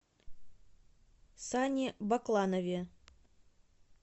сане бакланове